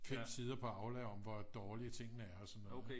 5 sider på Aula om hvor dårlige tingene er og sådan noget ikke